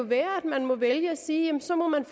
være at man må vælge at sige at så må man